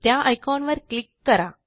त्या आयकॉनवर क्लिक करा